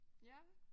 Ja